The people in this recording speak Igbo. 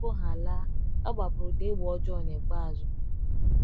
Ma tupu ha laa, ha gbapụrụ ụda egbe ọjọọ n'ikpeazụ.